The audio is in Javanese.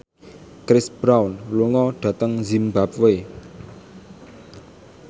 Chris Brown lunga dhateng zimbabwe